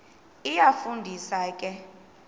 iyafu ndisa ke